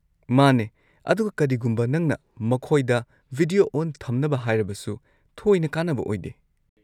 ꯃꯥꯅꯦ, ꯑꯗꯨꯒ ꯀꯔꯤꯒꯨꯝꯕ ꯅꯪꯅ ꯃꯈꯣꯏꯗ ꯚꯤꯗꯤꯑꯣ ꯑꯣꯟ ꯊꯝꯅꯕ ꯍꯥꯏꯔꯕꯁꯨ, ꯊꯣꯏꯅ ꯀꯥꯟꯅꯕ ꯑꯣꯏꯗꯦ꯫